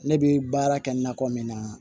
Ne bɛ baara kɛ nakɔ min na